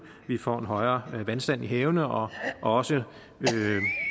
at vi får en højere vandstand i havene og også